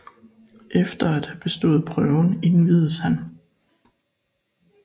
Efter at have bestaaet Prøven indviedes han s